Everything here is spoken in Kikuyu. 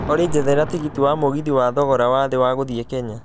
olly njethera tigiti wa mũgithi wa thogora wathĩ wa gũthiĩ kenya